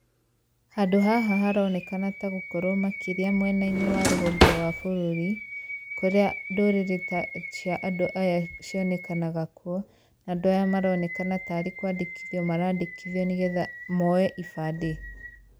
Handũ haha haronekana ta gũkorwo makĩria mwena-inĩ wa rũgongo wa bũrũri, kũrĩa ndũrĩrĩ ta cia andũ aya cionekanaga kuo. Andũ aya maronekena taarĩ kũandĩkithio maraandĩkithio nĩgetha moye ibandĩ.